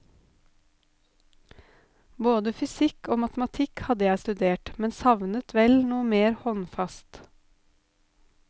Både fysikk og matematikk hadde jeg studert, men savnet vel noe mer håndfast.